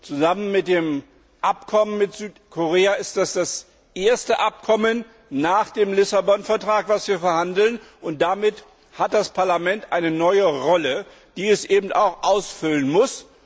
Zusammen mit dem Abkommen mit Südkorea ist dies das erste Abkommen nach dem Vertrag von Lissabon, über das wir verhandeln, und damit hat das Parlament eine neue Rolle, die es eben auch ausfüllen muss.